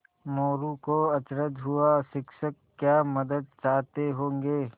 मोरू को अचरज हुआ शिक्षक क्या मदद चाहते होंगे